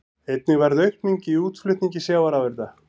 Einnig varð aukning í útflutningi sjávarafurða